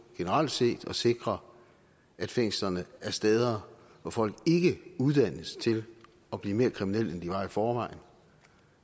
generelt set at sikre at fængslerne er steder hvor folk ikke uddannes til at blive mere kriminelle end de var i forvejen